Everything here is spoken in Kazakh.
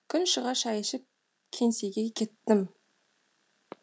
күн шыға шай ішіп кеңсеге кеттім